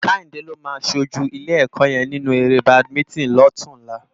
Kehinde ló má ṣójú ilé èkò yèn ninú éré bádimintin lòtúnlá